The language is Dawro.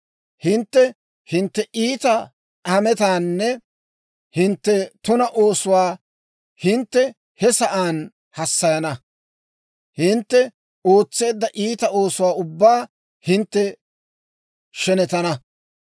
Hintte hintte iita hametaanne hintte tuna oosuwaa hintte he sa'aan hassayana; hintte ootseedda iita oosuwaa ubbaa hintte shenetana.